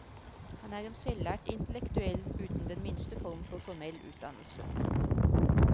Han er en selvlært intellektuell uten den minste form for formell utdannelse.